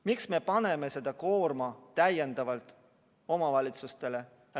Miks me paneme selle koorma täiendavalt omavalitsustele?